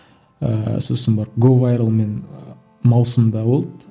ыыы сосын барып говайрлмен ы маусымда болды